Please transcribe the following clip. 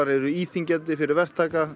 eru íþyngjandi fyrir verktaka